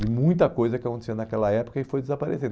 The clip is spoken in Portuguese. de muita coisa que acontecia naquela época e foi desaparecendo.